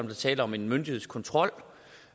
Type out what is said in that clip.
er tale om en myndighedskontrol